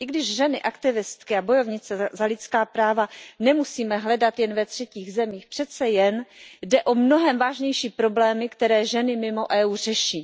I když ženy aktivistky a bojovnice za lidská práva nemusíme hledat jen ve třetích zemích, přece jen jde o mnohem vážnější problémy, které ženy mimo EU řeší.